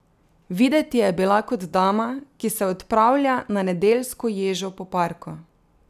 Videti je bila kot dama, ki se odpravlja na nedeljsko ježo po parku.